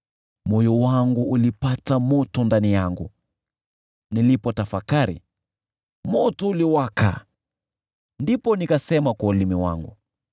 Moyo wangu ulipata moto ndani yangu, nilipotafakari, moto uliwaka, ndipo nikasema kwa ulimi wangu: